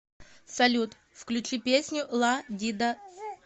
салют включи песню ла ди да